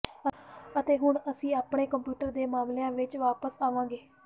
ਅਤੇ ਹੁਣ ਅਸੀਂ ਆਪਣੇ ਕੰਪਿਊਟਰ ਦੇ ਮਾਮਲਿਆਂ ਵਿੱਚ ਵਾਪਸ ਆਵਾਂਗੇ